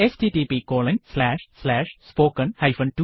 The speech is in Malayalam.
httpspoken tutorialorg